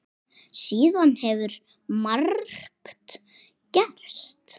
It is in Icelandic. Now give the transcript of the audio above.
Síðan hefur margt gerst.